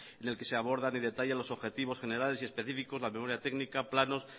en el que se abordan y detallan los objetivos generales y específicos la memoria técnica planos